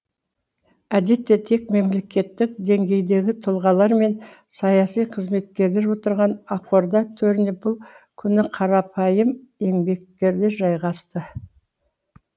әдетте тек мемлекеттік деңгейдегі тұлғалар мен саяси қызметкерлер отырған ақорда төріне бұл күні қарапайым еңбеккерлер жайғасты